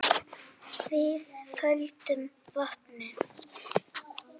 Þið földuð vopnin.